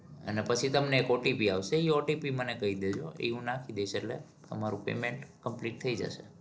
અને પછી તમને એક OTP આવશે એ OTP મને કઈ દેજો. એ હું નાખી દઈશ એટલે તમારું payment complete થઇ જશે.